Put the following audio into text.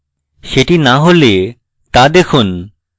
সেটি না দেখলে তা দেখুন